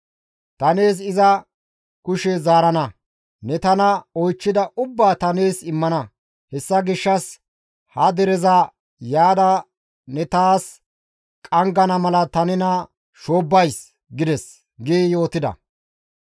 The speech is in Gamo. Ta nees iza kushe zaarana; ne tana oychchida ubbaa ta nees immana; hessa gishshas ha dereza yaada ne taas qanggana mala ta nena shoobbays!› gides» gi yootida.